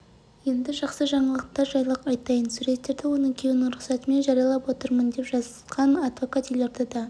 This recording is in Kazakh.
енді жақсы жаңалықтар жайлы айтайын суреттерді оның күйеуінің рұқсатымен жариялап отырмын деп жазған адвокат елордада